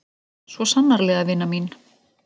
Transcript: Svo sannarlega vina mín.